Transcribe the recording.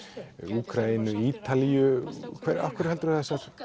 Úkraínu Ítalíu af hverju heldurðu